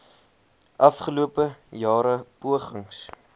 afgelope jare pogings